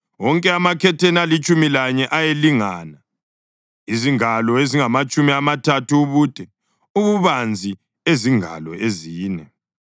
Wonke amakhetheni alitshumi lanye ayelingana, ezingalo ezingamatshumi amathathu ubude, ububanzi ezingalo ezine.